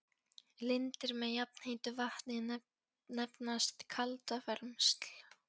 Lindir með jafnheitu vatni nefnast kaldavermsl.